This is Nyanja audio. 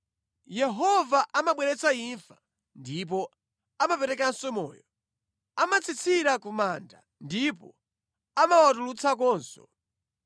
“Yehova amabweretsa imfa ndipo amaperekanso moyo, amatsitsira ku manda ndipo amawatulutsakonso.